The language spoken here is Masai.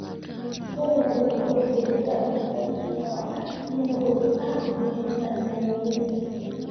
Oree lelo oitodolutua ilbulabul le korona nenotoki ajo meeta ina moyian.